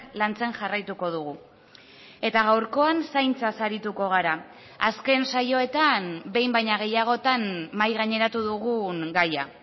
lantzen jarraituko dugu eta gaurkoan zaintzaz arituko gara azken saioetan behin baino gehiagotan mahai gaineratu dugun gaia